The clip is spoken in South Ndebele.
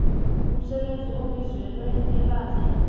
umsebenzi obizelwe ebandla